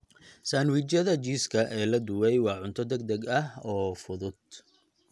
Sandwijyada jiiska ee la dubay waa cunto degdeg ah oo fudud.